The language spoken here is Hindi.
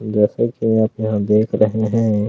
जैसा की आप यहाँ देख रहे हैं।